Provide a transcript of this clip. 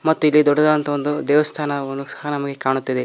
ಮತ್ತು ಇಲ್ಲಿ ದೊಡ್ಡದಾದಂತಹ ಒಂದು ದೇವಸ್ಥಾನವನ್ನು ಸಹ ನಮಗೆ ಕಾಣುತ್ತಿದೆ.